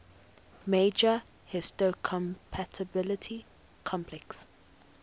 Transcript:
major histocompatibility complex